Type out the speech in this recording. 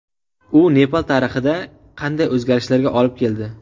U Nepal tarixida qanday o‘zgarishlarga olib keldi?